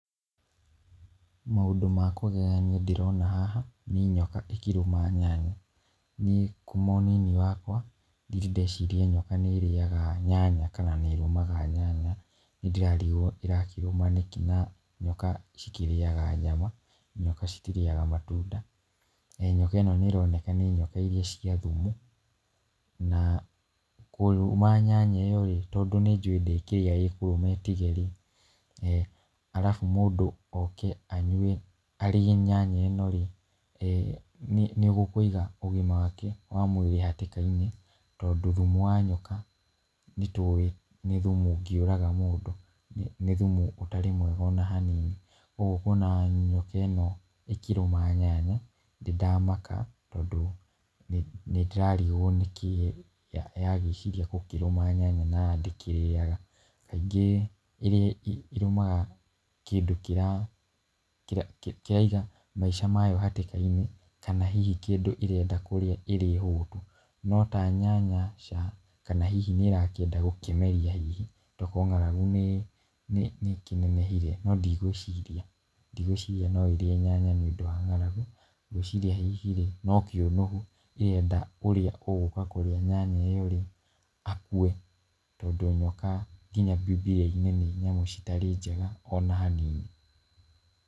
Maũndũ makũgegania ndĩrona haha nĩ nyoka ĩkĩrũma nyanya, niĩ kuma ũnini wakwa ndirĩ ndeciria nyoka nĩ ĩrĩaga nyanya, kana nĩ ĩrũmaga nyanya, ndĩrarigwo ĩrakĩrũma nĩkĩ na nyoka cikĩrĩaga nyama, nyoka citirĩaga matunda, na nyoka ĩno nĩ ĩroneka nĩ nyoka iria cia thumu, na kũrũma nyanya ĩyo rĩ tondũ nĩ njũwĩ ndĩkĩrĩa na ĩtige rĩ, arabu mũndũ oke arĩe nyanya ĩno rĩ ee nĩ gũkũiga ũgima wake wa mwĩri hatĩka-inĩ, tondũ thumu wa nyoka nĩ tũwĩ nĩ thumu ũngĩũraga mũndũ, nĩ thumu ũtarĩ mwega ona hanini , ũguo ũkona nyoka ĩno ĩkĩrũma nyanya nĩ ndamaka, tondũ nĩ ndĩrarigwo nĩkĩĩ yagĩciria gũkĩrũma nyanya na ndĩkĩrĩaga , kaingĩ ĩrũmaga kĩndũ kĩra kĩraiga maica mayo hatĩka-inĩ , kana hihi kĩndũ ĩrenda kũrĩa ĩrĩ hũtu, no ta nyanya ca, kana hihi nĩ ĩrakĩenda gũkĩmeria hihi, to korwo ng'aragu nĩ ĩkĩnenehire, no ndigwĩciria , ndigwĩciria no ĩrĩe nyanya nĩ ũndũ wa ng'aragu, ngwĩciria hihi no kĩũnũhu ĩrenda ũrĩa ũgũka kũrĩa nyanya ĩyo rĩ akue, tondũ nyoka nginya bibiria-inĩ nĩ nyamũ citarĩ njega ona hanini.